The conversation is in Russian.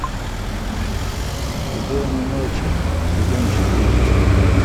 убойной ночи сезон четыре